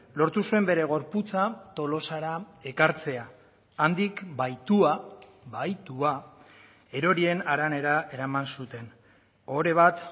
lortu zuen bere gorputza tolosara ekartzea handik bahitua bahitua erorien haranera eraman zuten ohore bat